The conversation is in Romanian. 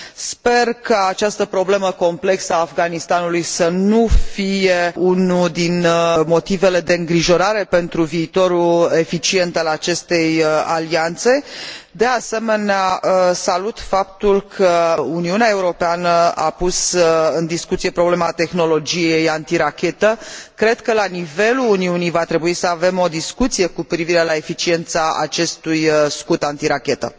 Sper ca această problemă complexă a Afganistanului să nu fie unul din motivele de îngrijorare pentru viitorul eficient al acestei alianțe. De asemenea, salut faptul că Uniunea Europeană a pus în discuție problema tehnologiei antirachetă. Cred că la nivelul Uniunii va trebui să avem o discuție cu privire la eficiența acestui scut antirachetă.